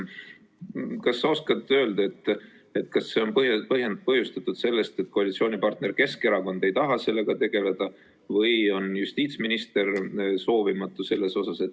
Kas sa oskad öelda, kas see on põhjustatud sellest, et koalitsioonipartner Keskerakond ei taha sellega tegeleda või on justiitsminister soovimatu selles osas?